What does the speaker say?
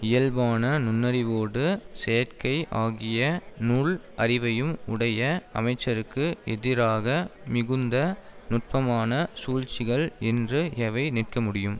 இயல்பான நுண்ணறிவோடு செயற்கை ஆகிய நூல் அறிவையும் உடைய அமைச்சருக்கு எதிராக மிகுந்த நுட்பமான சூழ்ச்சிகள் என்று எவை நிற்கமுடியும்